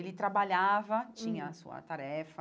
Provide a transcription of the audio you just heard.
Ele trabalhava, tinha a sua tarefa,